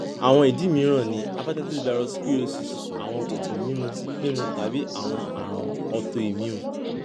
awọn idi miiran ni hepatitis virus cirrhosis awọn oogun mimu mimu tabi awọn arun autoimmune